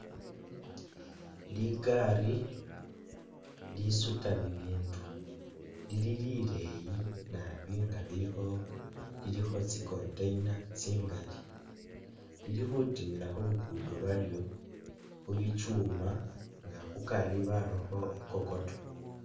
Ligaali lisuta bibindu lili lileyi naabi nga lilikho lilikho tsi container tsingali lili khutimila khu lugudo lwalyo khu bikyuma inga kukari barakho i'kokoto